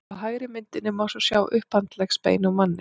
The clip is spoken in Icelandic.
á hægri myndinni má svo sjá upphandleggsbein úr manni